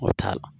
O t'a la